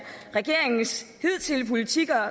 regeringens hidtidige politik og